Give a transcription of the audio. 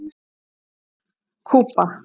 Kúba